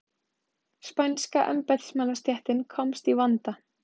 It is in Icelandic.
Spænska embættismannastéttin komst í vanda.